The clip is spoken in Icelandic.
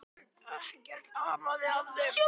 Ekkert amaði að þeim.